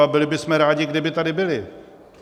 A byli bychom rádi, kdyby tady byli.